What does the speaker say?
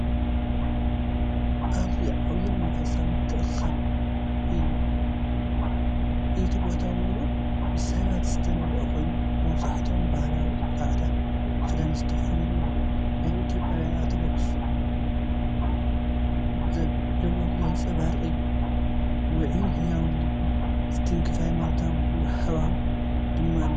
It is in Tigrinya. ኣዝዩ ዓቢይን መንፈሳዊን ምትእኽኻብ እዩ። እቲ ቦታ ምሉእ ብሰባት ዝተመልአ ኮይኑ፡ መብዛሕትኦም ባህላዊ ጻዕዳ ክዳን ዝተኸድኑ እዮም፤ ናይ ኢትዮጵያውያን ኦርቶዶክሳውያን ዘብዕልዎ ዘንጸባርቕ እዩ። ውዑይን ህያውን ልቢ ዝትንክፍን ሃይማኖታዊ ሃዋህው ድማ ኣለዎ!